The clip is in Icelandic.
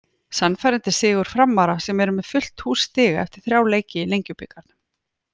Sannfærandi sigur Framara sem eru með fullt hús stiga eftir þrjá leiki í Lengjubikarnum.